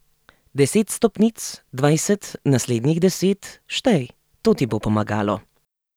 Deset stopnic, dvajset, naslednjih deset, štej, to ti bo pomagalo.